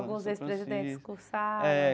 Alguns ex-presidentes cursaram. É.